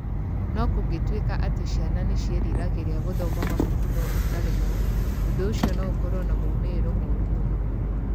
No kũngĩtuĩka atĩ ciana nĩ ciĩriragĩria gũthoma mabuku no ikaremwo, ũndũ ũcio no ũkorũo na moimĩrĩro moru mũno.